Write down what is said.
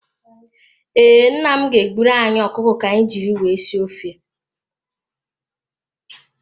Ee, nna m ga-egburu anyị ọkụkọ ka anyị jiri sie ofe.